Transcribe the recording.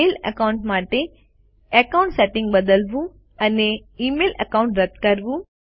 mail account માટે account settings બદલવું અને ઇમેઇલ એકાઉન્ટ રદ કરવું